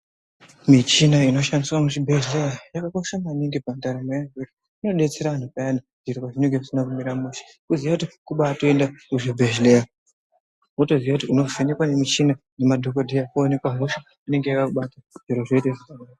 Michina inoshandiswa muzvibhedhlera yakakosha maningi pandaramo yedu. Inobetsera muntu payana zviro zvinenge zvisina kumira mushe voziya kuti kubatoenda kuzvibhedhleya. Votoziva kuti unovhenekwa nemichina nemadhogodheya poonekwa hosha inenge yakakubata zviro zvoita zvakanaka.